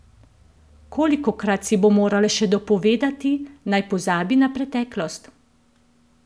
Kolikokrat si bo morala še dopovedati, naj pozabi na preteklost?